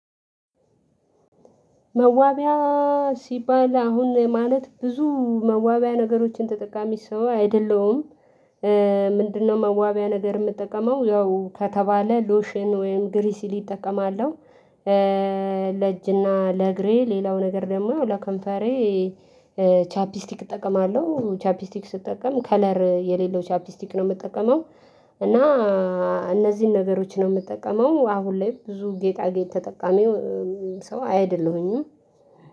መዋቢያ ሲባል አሁን ማለት ብዙ መዋቢያ ነገሮችን ተጠቃሚ ሰው አይደለም። ምንድነው? መዋቢያ ነገር የምጠቀመው ያው ከተባለ ሎሽን ወይም ግሪሲሊ እጠቀማለሁ። ለእጅና ለእግሬ ሌላው ነገር ደግሞ ለከንፈሬ። ቻፕስቲክ እጠቀማለሁ ቻፕስቲክ ስጠቀም ከለር የሌለው ቻፕስቲክ ነው የምጠቀመው። እና እነዚህን ነገሮች ነው የምጠቀመው አሁን ላይ ብዙ ጌጣጌጥ ተጠቃሚው። ሰው አይደለሁኝም